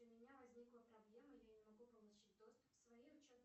у меня возникла проблема я не могу получить доступ к своей учетной